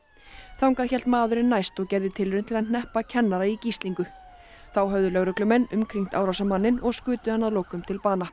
þangað hélt maðurinn næst og gerði tilraun til að hneppa kennara í gíslingu þá höfðu lögreglumenn umkringt árásarmanninn og skutu hann að lokum til bana